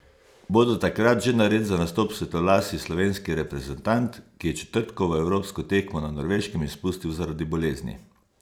Bo do takrat že nared za nastop svetlolasi slovenski reprezentant, ki je četrtkovo evropsko tekmo na Norveškem izpustil zaradi bolezni?